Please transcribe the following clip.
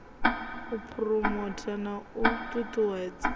u phuromotha na u ṱuṱuwedza